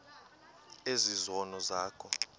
ezi zono zakho